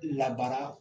Labara